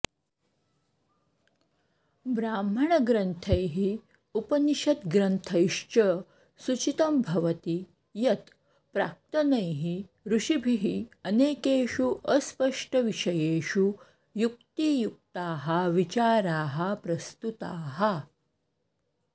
ब्राह्मणग्रन्थैः उपनिषद्ग्रन्थैश्च सूचितं भवति यत् प्राक्तनैः ऋषिभिः अनेकेषु अस्पष्टविषयेषु युक्तियुक्ताः विचाराः प्रस्तुताः